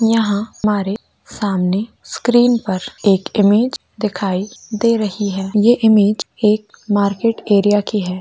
यहां हमारे सामने स्क्रीन पर एक इमेज दिखाई दे रही है ये इमेज मार्केट एरिया की है।